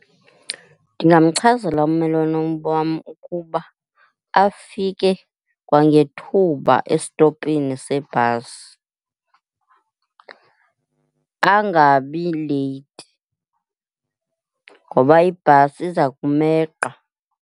Ndingamchazela ummelwane wam ukuba afike kwangethuba esitopini sebhasi, angabi leyithi ngoba ibhasi iza kumeqa.